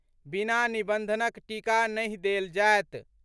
बिना निबंधनक टीका नहि देल जायत।